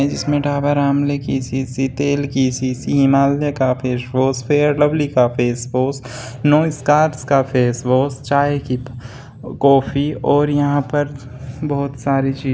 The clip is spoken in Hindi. जिसमे डाबर आमले की शीशी तेल की शीशी हिमालय का फेस वाश फेयर लवली का फेस वाश नोस्कार्स का फेस वाश चाय की कॉफी और यहां पर बहुत सारी ची --